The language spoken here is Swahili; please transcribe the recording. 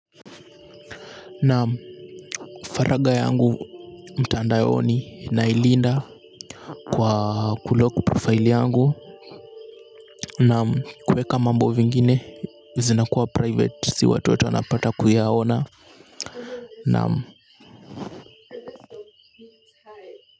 Na faragha yangu mtandaoni nailinda kwa kulock profile yangu. Naam, kuweka mambo vingine zinakuwa private si watu wanapata kuyaona.